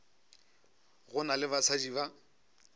go na le basadi ba